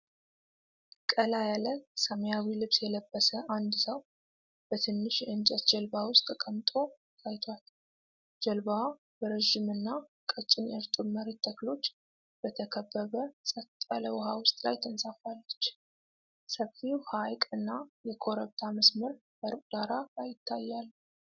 ቀላ ያለ ሰማያዊ ልብስ የለበሰ አንድ ሰው በትንሽ የእንጨት ጀልባ ውስጥ ተቀምጦ ታይቷል። ጀልባዋ በረዥምና ቀጭን የእርጥብ መሬት ተክሎች በተከበበ ጸጥ ያለ ውሃ ውስጥ ላይ ተንሳፍፋለች። ሰፊው ሐይቅ እና የኮረብታ መስመር በሩቅ ዳራ ላይ ይታያሉ።